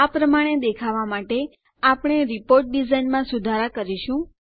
આ પ્રમાણે દેખાવાં માટે આપણે આપણી રીપોર્ટ ડીઝાઇનમાં સુધાર કરીશું